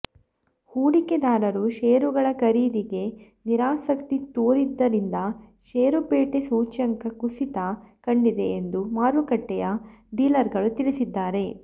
ಹೂಡಿಕೆದಾರರು ಶೇರುಗಳ ಖರೀದಿಗೆ ನಿರಾಸಕ್ತಿ ತೋರಿದ್ದರಿಂದ ಶೇರುಪೇಟೆ ಸೂಚ್ಯಂಕ ಕುಸಿತ ಕಂಡಿದೆ ಎಂದು ಮಾರುಕಟ್ಟೆಯ ಡೀಲರ್ಗಳು ತಿಳಿಸಿದ್ದಾರೆ